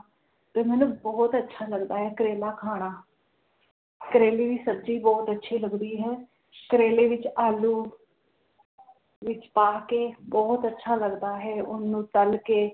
ਤੇ ਮੈਨੂੰ ਬੋਹੋਤ ਅੱਛਾ ਲੱਗਦਾ ਹੈ ਕਰੇਲਾ ਖਾਣਾ ਕਰੇਲੇ ਦੀ ਸਬਜ਼ੀ ਬੋਹੋਤ ਅੱਛੀ ਲੱਗਦੀ ਹੈ ਕਰੇਲੇ ਵਿਚ ਆਲੂ ਵਿਚ ਪਾ ਕੇ ਬੋਹੋਤ ਅੱਛਾ ਲੱਗਦਾ ਹੈ ਓਹਨੂੰ ਤਲ ਕੇ